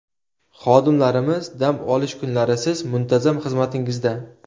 Xodimlarimiz dam olish kunlarisiz muntazam xizmatingizda!